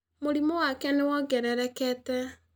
Mũrimo wake nĩ wongererekete.